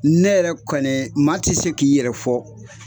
Ne yɛrɛ kɔni maa ti se k'i yɛrɛ fɔ